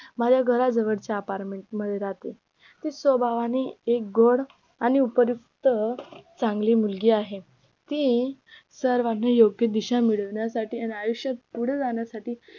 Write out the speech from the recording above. माझ्या घराजवळच्या apartment मध्ये राहते ती स्वभावाने एकगोर आणि उपरोक्त चांगली मुलगी आहे ती सर्वांना योग्य दिशा मिळवण्यासाठी आणि आयुष्यात पुढे जाण्यासाठी